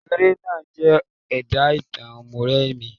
Eré náà jẹ́ ẹ̀dà ìtàn Mọ́remí.